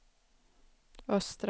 östra